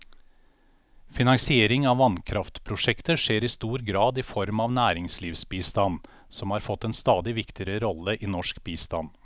Finansiering av vannkraftprosjekter skjer i stor grad i form av næringslivsbistand, som har fått en stadig viktigere rolle i norsk bistand.